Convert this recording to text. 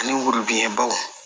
Ani worobinɛbaw